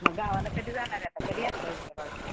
मग गावाला कधी जाणारे आता कधी यात्रा आहे तुमच्या गावची?